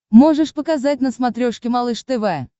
можешь показать на смотрешке малыш тв